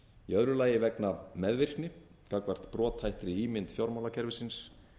í öðru lagi vegna meðvirkni gagnvart brothættri ímynd fjármálakerfisins